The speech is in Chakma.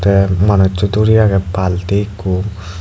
te manusso duri agey balti ikko.